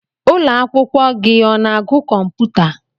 Ụlọ akwụkwọ gị ọ na-agu kọmputa?